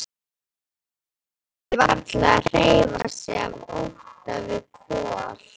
Hann þorir varla að hreyfa sig af ótta við Kol.